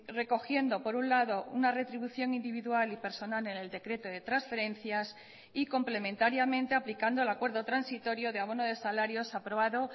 recogiendo por un lado una retribución individual y personal en el decreto de transferencias y complementariamente aplicando el acuerdo transitorio de abono de salarios aprobado